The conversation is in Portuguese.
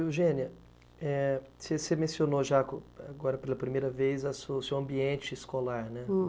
Eugênia, é você mencionou já, agora pela primeira vez, o seu ambiente escolar, né?